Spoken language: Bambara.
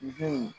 Bin